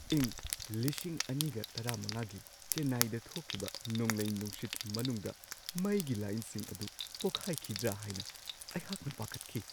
ꯏꯪ ꯲꯰꯱꯵ꯒꯤ ꯆꯦꯟꯅꯥꯏꯗ ꯊꯣꯛꯈꯤꯕ ꯅꯣꯡꯂꯩ-ꯅꯨꯡꯁꯤꯠ ꯃꯅꯨꯡꯗ ꯃꯩꯒꯤ ꯂꯥꯏꯟꯁꯤꯡ ꯑꯗꯨ ꯐꯥꯎꯍꯜꯂꯤ ꯍꯥꯏꯅ ꯑꯩꯍꯥꯛꯅ ꯄꯥꯈꯠꯈꯤ ꯫